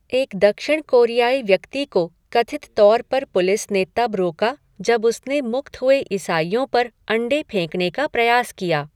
एक दक्षिण कोरियाई व्यक्ति को कथित तौर पर पुलिस ने तब रोका जब उसने मुक्त हुए ईसाईयों पर अंडे फेंकने का प्रयास किया।